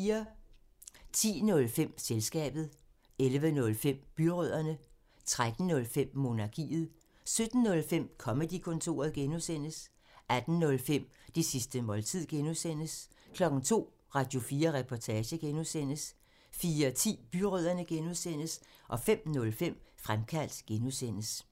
10:05: Selskabet 11:05: Byrødderne 13:05: Monarkiet 17:05: Comedy-kontoret (G) 18:05: Det sidste måltid (G) 02:00: Radio4 Reportage (G) 04:10: Byrødderne (G) 05:05: Fremkaldt (G)